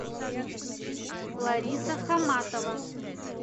лариса хаматова